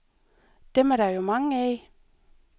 Dem er der jo mange af.